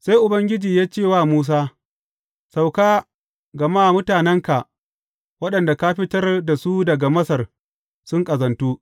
Sai Ubangiji ya ce wa Musa, Sauka, gama mutanenka, waɗanda ka fitar da su daga Masar sun ƙazantu.